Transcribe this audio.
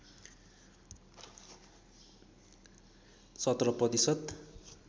१७ प्रतिशत